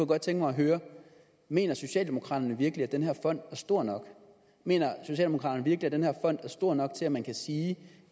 godt tænke mig at høre mener socialdemokraterne virkelig at den her fond er stor nok mener socialdemokraterne virkelig at den her fond er stor nok til at man kan sige